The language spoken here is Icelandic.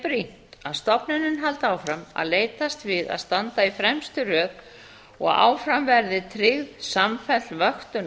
brýnt að stofnunin haldi áfram að leitast við að standa í fremstu röð og áfram verði tryggð samfelld vöktun